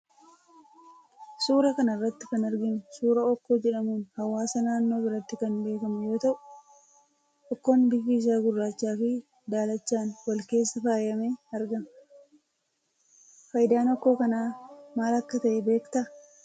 Suuraa kana irratti kan arginu suuraa okkoo jedhamuun hawaasa naannoo biratti kan beekamu yoo ta'u, okkoon kunis bifa gurraachaa fi daalachaan wal keessa faayamee argama. Faayidaan okkoo kanaa maal akka ta'e beekta?